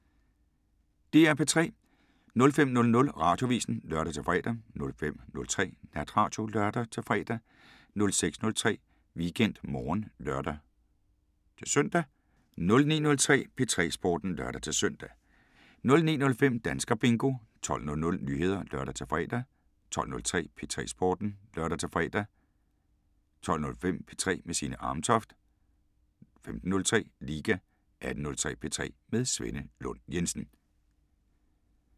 05:00: Radioavisen (lør-fre) 05:03: Natradio (lør-fre) 06:03: WeekendMorgen (lør-søn) 09:03: P3 Sporten (lør-søn) 09:05: Danskerbingo 12:00: Nyheder (lør-fre) 12:03: P3 Sporten (lør-fre) 12:05: P3 med Signe Amtoft 15:03: Liga 18:03: P3 med Svenne Lund Jensen